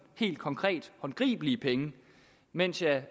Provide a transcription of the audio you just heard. helt konkrete håndgribelige penge mens jeg